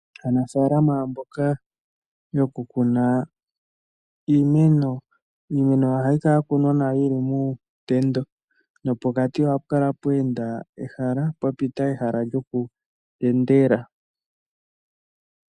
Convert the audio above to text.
Aanafalama mboka yokukuna iimeno ,iimeno ohayi kala ya kunwa nawa yili muutendo nopokati ohapu kala pwa pita ehala lyokutendela.